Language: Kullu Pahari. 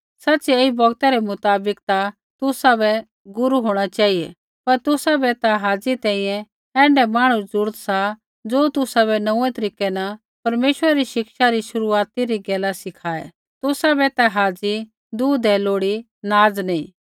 सच़िऐ ऐई बौगतै मुताबक ता तुसाबै गुरू होंणा चेहिऐ पर तुसाबै ता हाज़ी तैंईंयैं ऐण्ढै मांहणु री ज़रूरत सा ज़ो तुसाबै नोंऊँऐं तरीकै न परमेश्वरा री शिक्षा री शुरूआती री गैला सिखाऐ तुसाबै ता हाज़ी दूध ही लोड़ी नाज़ नैंई